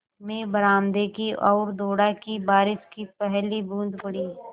मैं बरामदे की ओर दौड़ा कि बारिश की पहली बूँद पड़ी